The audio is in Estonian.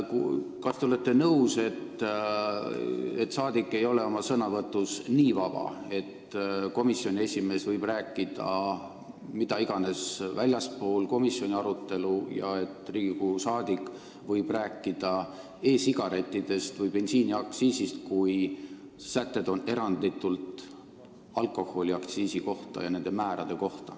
Kas te olete nõus, et rahvasaadik ei ole oma sõnavõtus nii vaba, et komisjoni esimees võib rääkida mida iganes ka sellest, mis ei puuduta komisjoni arutelu, ja et Riigikogu liige võib rääkida e-sigarettidest või bensiiniaktsiisist, kui eelnõu sätted on eranditult alkoholiaktsiisi määrade kohta?